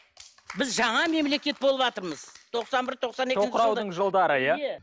біз жаңа мемлекет болыватырмыз тоқсан бір тоқсан екі тоқыраудың жылдары иә